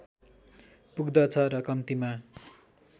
पुग्दछ र कम्तीमा